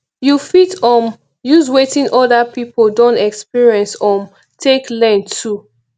you fit um use wetin oda pipo don experience um take learn too